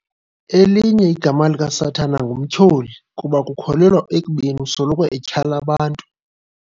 Elinye igama likaSathana nguMtyholi kuba kukholelwa ekubeni usoloko etyhala abantu.